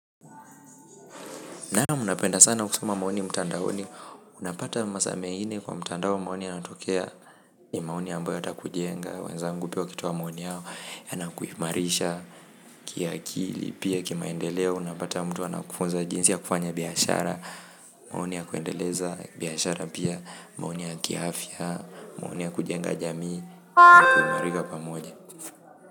Naam napenda sana kusuma maoni mtandaoni unapata masaa mengine kwa mtandao maoni yanatokea ni maoni ambayo yatakujenga, wenzangu pia wakitoa maoni yao yanakuimarisha, kiakili, pia kimaendeleo, unapata mtu anakufunza jinsi ya kufanya biashara, maoni ya kuendeleza, biashara pia, maoni ya kiafya, maoni ya kujenga jamii, kuimarika pamoja.